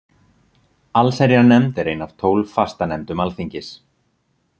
Allsherjarnefnd er ein af tólf fastanefndum Alþingis.